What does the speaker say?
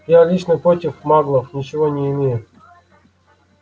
я лично против маглов ничего не имею